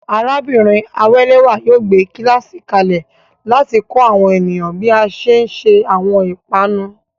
Arábìnrin Awelewa yóò gbé kíláàsì kalẹ̀ láti kọ́ àwọn ènìyàn bí a ṣe ń se àwọn ìpanu.